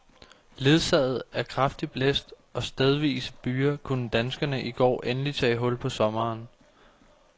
Ledsaget af kraftig blæst og stedvise byger kunne danskerne i går endelig tage hul på sommeren.